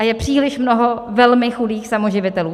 A je příliš mnoho velmi chudých samoživitelů.